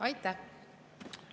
Aitäh!